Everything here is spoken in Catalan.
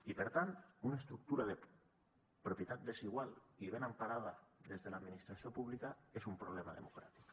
i per tant una estructura de propietat desigual i ben emparada des de l’administració pública és una problema democràtic